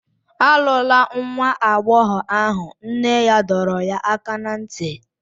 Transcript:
Alụla nwa agbọghọ ahụ, nne ya dọrọ ya aka ná ntị.